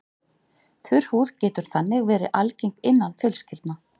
Þurr húð getur þannig verið algeng innan fjölskyldna.